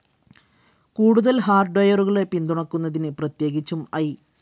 കൂടുതൽ ഹാർഡ്വെയറുകളെ പിന്തുണക്കുന്നതിന്, പ്രത്യേകിച്ചും ഐ.